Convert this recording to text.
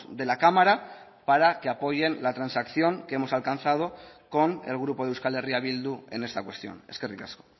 de la cámara para que apoyen la transacción que hemos alcanzado con el grupo de euskal herria bildu en esta cuestión eskerrik asko